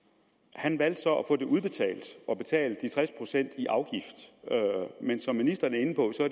han valgte så at få det udbetalt og betale tres procent i afgift men som ministeren er inde på